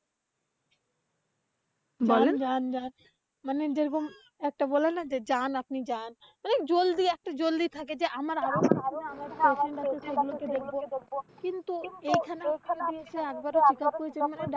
যান যান, মানে যে রকম একটা বলে না? যান আপনি যান। অনেক জলদি একটা জলদি থাকে যে আমার হচ্ছে যে গন্তব্য কিন্তু এইখানে এসে আপনার